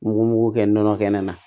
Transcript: Nugu mugu kɛ nɔnɔ kɛnɛ na